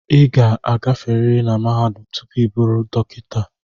ị ga-agaferiri na mahadum tupu ị bụrụ dọkịta